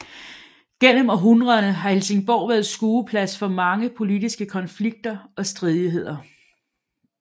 Gennem århundrederne har Helsingborg været skueplads for mange politiske konflikter og stridigheder